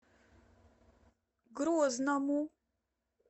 грозному